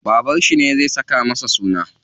Babanshi ne zai saka masa suna.